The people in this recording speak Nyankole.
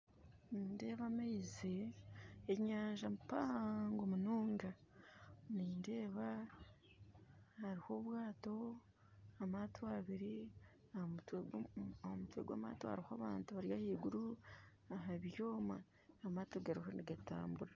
Nindeeba amaizi enyanja mpango munonga nindeeba hariho obwato, amaato abiri, ha mutwe gwa amaato hariho abantu bari ahaiguru aha byoma amaato gariho nigatambura